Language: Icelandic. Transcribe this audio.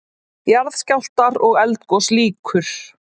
JARÐSKJÁLFTAR OG ELDGOS LÝKUR